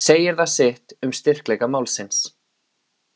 Segir það sitt um styrkleika málsins.